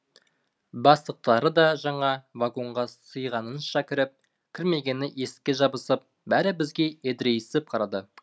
бастықтары да жаңа вагонға сыйғанынша кіріп кірмегені есікке жабысып бәрі бізге едірейісіп қарады